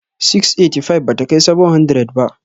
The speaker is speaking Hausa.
685 bata kai 700 ba.